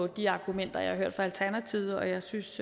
de argumenter jeg har hørt fra alternativet og jeg synes